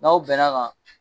N' aw bɛnn'a kan.